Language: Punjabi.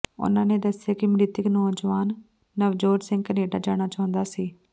ਉਨ੍ਹਾਂ ਨੇ ਦੱਸਿਆ ਕਿ ਮ੍ਰਿਤਕ ਨੌਜਵਾਨ ਨਵਜੋਤ ਸਿੰਘ ਕੈਨੇਡਾ ਜਾਣਾ ਚਾਹੁੰਦਾ ਸੀ